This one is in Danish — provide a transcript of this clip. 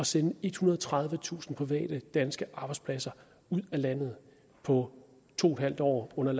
sende ethundrede og tredivetusind private danske arbejdspladser ud af landet på to en halv år under